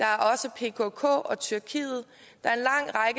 er også pkk og tyrkiet der er